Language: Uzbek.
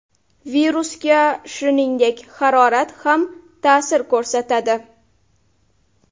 Virusga, shuningdek, harorat ham ta’sir ko‘rsatadi.